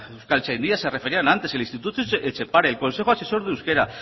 euskaltzaindia se referían antes el instituto etxepare el consejo asesor de euskera